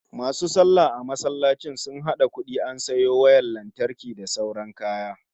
MAsu sallah a masallacin sun hada kudi an sayo wayar lantarki da sauran kaya